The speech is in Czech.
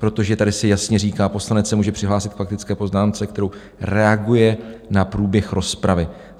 Protože tady se jasně říká: Poslanec se může přihlásit k faktické poznámce, kterou reaguje na průběh rozpravy.